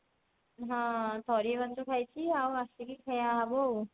ହଁ ଥରିଏ ମାତ୍ର ଖାଇଛି ଆଉ ଆସିକି ଖିଆ ହବ ଆଉ